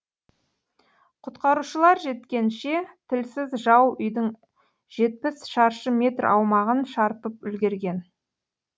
құтқарушылар жеткенше тілсіз жау үйдің жетпіс шаршы метр аумағын шарпып үлгерген